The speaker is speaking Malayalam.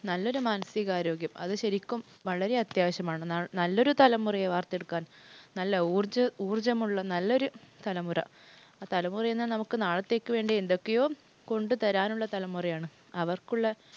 നല്ലൊരു മാനസിക ആരോഗ്യം അത് ശരിക്കും വളരെ അത്യാവശ്യമാണ്. നല്ലൊരു തലമുറയെ വാർത്തെടുക്കാൻ, നല്ല ഊർജ്ജമുള്ള നല്ലൊരു തലമുറ. ആ തലമുറയെന്നാൽ നമുക്ക് നാളത്തേക്ക് വേണ്ടി എന്തൊക്കെയോ കൊണ്ട് തരാനുള്ള തലമുറയാണ്. അവർക്കുള്ള